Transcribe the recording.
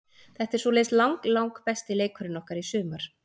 Þetta er svoleiðis lang lang besti leikurinn okkar í sumar.